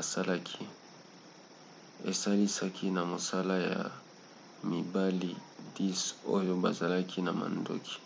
asalaki esalisaki na mosala ya mibali 10 oyo bazalaki na mandoki